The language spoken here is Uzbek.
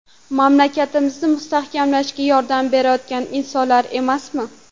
Mamlakatimizni mustahkamlashga yordam berayotgan insonlar emasmi?